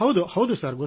ಹೌದು ಸರ್